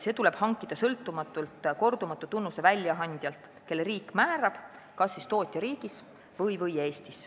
See tuleb hankida sõltumatult kordumatu tunnuse väljaandjalt, kelle riik määrab, kas siis tootjariigis või Eestis.